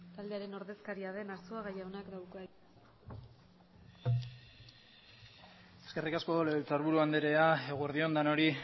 taldearen ordezkaria den arzuaga jaunak dauka hitza eskerrik asko legebiltzarburu andrea eguerdi on denoi